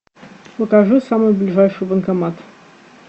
покажи самый ближайший банкомат